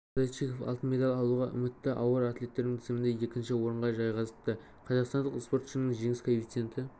александр зайчиков алтын медаль алуға үмітті ауыр атлеттердің тізімінде екінші орынға жайғасыпты қазақстандық спортшының жеңіс коэффициенті